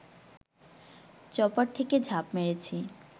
chopper থেকে ঝাঁপ মেরেছি